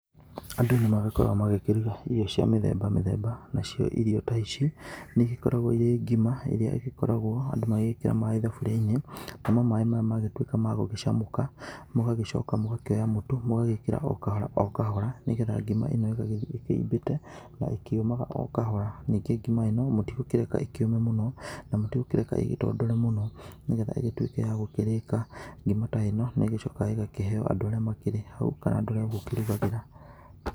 Andũ nĩ magĩkoragwo magĩkĩruga irio cia mĩthemba mĩthemba, nacio irio ta ici nĩ igĩkoragwo irĩ ngima ĩria ĩgĩkoragwo andũ magĩgĩkĩra maaĩ thaburia-inĩ. Namo maaĩ maya magĩtuĩka magũgĩcamũka mũgagĩcoka mũgakĩoya mũtu mũgagĩkĩra o kahora o kahora nĩ getha ngima ĩno ĩgagĩthiĩ ĩkĩimbĩte na ĩkĩũmaga o kahora. Ningĩ ngima ĩno mũtigũkĩreka ĩkĩũme mũno na mũtigũkĩreka ĩgĩtondore mũno nĩ getha ĩgĩtuĩke ya gũkĩrĩka. Ngima ta ĩno nĩ ĩgĩcokaga ĩgakĩheo andũa arĩa makĩrĩ hau kana andũ arĩa ũgũkĩrugagĩra.